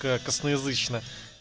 ка косноязычно